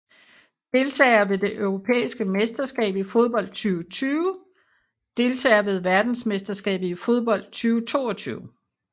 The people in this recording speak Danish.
Deltagere ved det europæiske mesterskab i fodbold 2020 Deltagere ved verdensmesterskabet i fodbold 2022